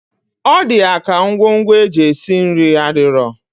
Ọdi yaka ngwo ngwo eji esi nri adiro.